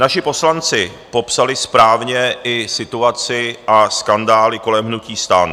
Naši poslanci popsali správně i situaci a skandály kolem hnutí STAN.